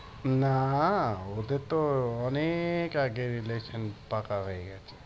না ওদের তো অনেক আগের relation পাকা হয়ে গেছে।